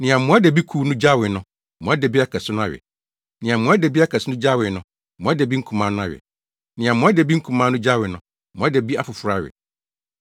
Nea mmoadabikuw no gyawee no, mmoadabi akɛse no awe; nea mmoadabi akɛse no gyawee no, mmoadabi nkumaa no awe; nea mmoadabi nkumaa no gyawee no, mmoadabi afoforo awe.